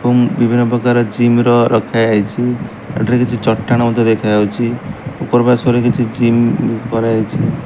ଏବଂ ବିଭିନ୍ନ ପ୍ରକାର ଜିମ ର ରଖାଯାଇଛି ଏଠାରେ କିଛି ଚଟାଣ ମଧ୍ୟ ଦେଖାଯାଉଛି ଉପର ପାର୍ଶ୍ଵରେ କିଛି ଜିମ କରାହେଇଚି।